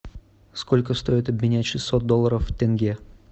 сколько стоит обменять шестьсот долларов в тенге